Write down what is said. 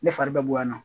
Ne fari bɛ bɔ yan nɔ